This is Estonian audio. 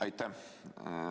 Aitäh!